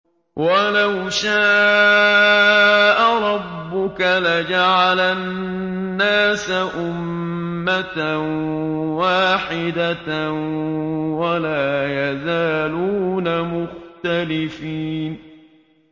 وَلَوْ شَاءَ رَبُّكَ لَجَعَلَ النَّاسَ أُمَّةً وَاحِدَةً ۖ وَلَا يَزَالُونَ مُخْتَلِفِينَ